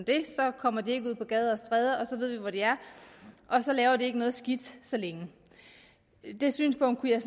kommer de ikke ud på gader og stræder og så ved vi hvor de er og så laver de ikke noget skidt så længe det synspunkt kunne jeg